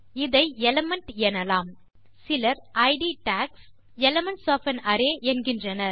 இதை எலிமெண்ட் எனலாம் சிலர் இட் டாக்ஸ் எலிமென்ட்ஸ் ஒஃப் ஆன் அரே என்கின்றனர்